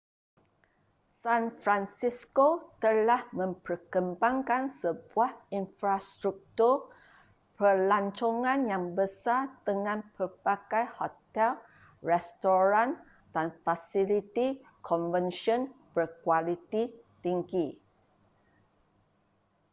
san francisco telah memperkembangkan sebuah infrastruktur pelancongan yang besar dengan pelbagai hotel restoran dan fasiliti konvensyen berkualiti tinggi